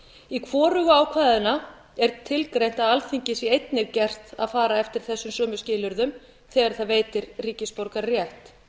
í hvorugu ákvæðanna er tilgreint að alþingi sé einnig gert að fara eftir þessum sömu skilyrðum þegar það veitir ríkisborgararétt